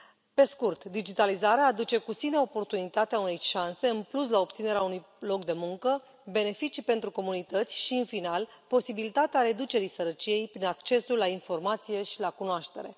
Pe scurt, digitalizarea aduce cu sine oportunitatea unei șanse în plus la obținerea unui loc de muncă, beneficii pentru comunități și, în final, posibilitatea reducerii sărăciei prin accesul la informație și la cunoaștere.